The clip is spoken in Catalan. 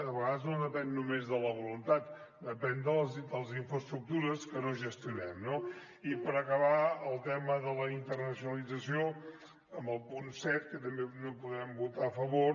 a vegades no depèn només de la voluntat depèn de les infraestructures que no gestionem no i per acabar el tema de la internacionalització amb el punt set que també no podem votar a favor